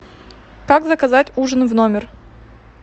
как заказать ужин в номер